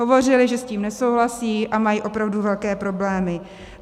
Hovořili, že s tím nesouhlasí a mají opravdu velké problémy.